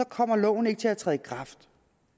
kommer loven ikke til at træde i kraft